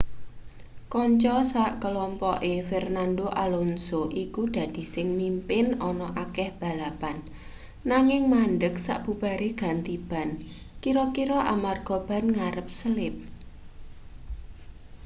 kanca sak klompoke fernando alonso iku dadi sing mimpin ana akeh balapan nanging mandheg sabubare ganti ban kira-kira amarga ban ngarep selip